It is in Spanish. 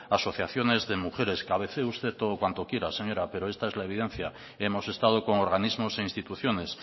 asociaciones de mujeres cabecee todo cuanto quiera señora pero esta es la evidencia hemos estado con organismos e instituciones